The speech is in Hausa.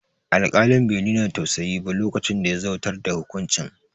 Alƙalin be nuna tausayi ba lokacin da ya zautar da hukuncin